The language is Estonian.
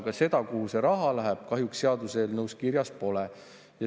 Aga seda, kuhu see raha läheb, kahjuks seaduseelnõus kirjas pole.